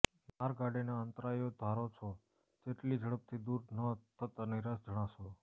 માર્ગ આડેના અંતરાયો ધારો છો તેટલી ઝડપથી દૂર ન થતાં નિરાશ જણાશો